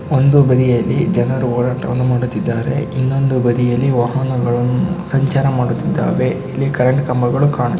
ಒಂದು ಬದಿಯಲ್ಲಿ ಜನರು ಓಡಾಟವನ್ನು ಮಾಡುತ್ತಿದ್ದಾರೆ ಇನ್ನೊಂದು ಬದಿಯಲ್ಲಿ ವಾಹನಗಳನ್ನು ಸಂಚಾರ ಮಾಡುತ್ತಿದ್ದಾವೆ ಇಲ್ಲಿ ಕರೆಂಟ್ ಕಂಭಗಳು ಕಾಣು--.